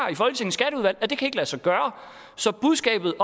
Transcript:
i kan lade sig gøre så budskabet